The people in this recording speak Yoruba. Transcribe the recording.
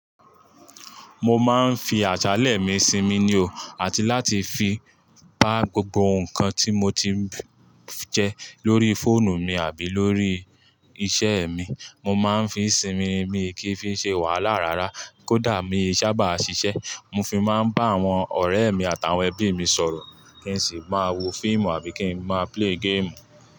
Mo máa ń fi àsale mi sinmi ni o, àti láti fi bá gbogbo nǹkan tí mo ti ń jẹ lórí fóònù mi àbí lórí iṣẹ́ mi. Mo má ń fi sinmi mi kí n fi ṣe wàhálà rárá kó dà mí sábà ṣiṣẹ́. Mo fi má ń bá àwọn ọ̀rẹ́ mi àtàwọn ẹbí mi sọ̀rọ̀ kí n sì máa wo fíìmù àbí kí n má play game.